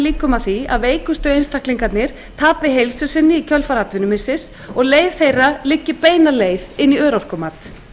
líkum að því að veikustu einstaklingarnir tapi heilsu sinni í kjölfar atvinnumissir og leið þeirra liggi beina leið inn í örorkumat það